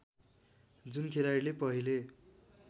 जुन खेलाडीले पहिले